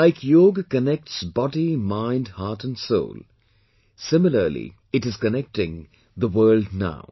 Like Yoga connects body, mind, heart and soul similarly it is connecting the world now